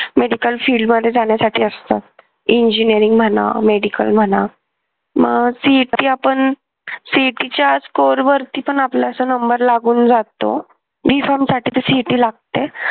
medical field मध्ये जाण्यासाठी असतात engineering म्हणा medical म्हणा मग CET आपण CET च्या score वरती पण आपला नंबर लागून जातो B farm साठी तर CET लागते